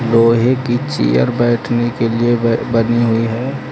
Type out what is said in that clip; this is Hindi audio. लोहे की चेयर बैठने के लिए बनी हुई है।